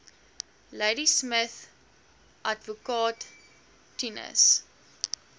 ladismith adv tinus